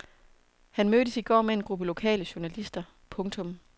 Han mødtes i går med en gruppe lokale journalister. punktum